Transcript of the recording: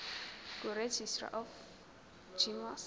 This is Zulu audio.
kuregistrar of gmos